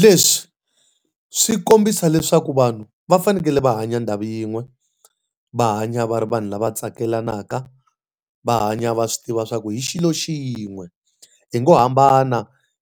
Leswi swi kombisa leswaku vanhu va fanekele va hanya ndhawu yin'we, va hanya va ri vanhu lava tsakelaka, va hanya va swi tiva leswaku hi xilo xi yin'we. Hi ngo hambana